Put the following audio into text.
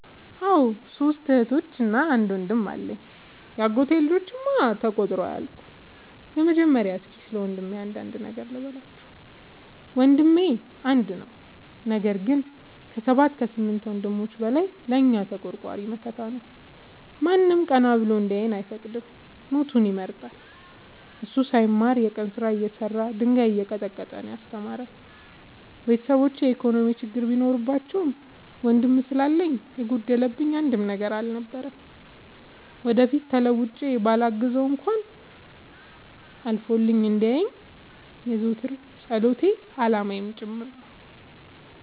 አዎ ሶስት እህቶች አንድ ወንድም አለኝ የአጎቴ ልጆች እማ ተቆጥረው አያልቁም። በመጀመሪያ እስኪ ስለወንድሜ አንዳንድ ነገር ልበላችሁ። ወንድሜ አንድ ነው ነገር ግን አሰባት ከስምንት ወንድሞች በላይ ለእኛ ተቆርቋሪ መከታ ነው። ማንም ቀና ብሎ እንዲያየን አይፈቅድም ሞቱን ይመርጣል። እሱ ሳይማር የቀን ስራ እየሰራ ድንጋይ እየቀጠቀጠ ነው። ያስተማረን ቤተሰቦቼ የኢኮኖሚ ችግር ቢኖርባቸውም ወንድም ስላለኝ የጎደለብኝ አንድም ነገር አልነበረም። ወደፊት ተለውጬ በላግዘው እንኳን አልፎልኝ እንዲየኝ የዘወትር ፀሎቴ አላማዬም ጭምር ነው።